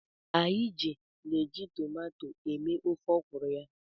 Ij na-eji tomato eme ofe ọkwụrụ ya.